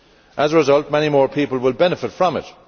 As a result, many more people will benefit from it.